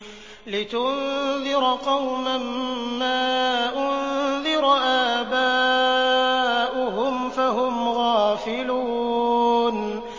لِتُنذِرَ قَوْمًا مَّا أُنذِرَ آبَاؤُهُمْ فَهُمْ غَافِلُونَ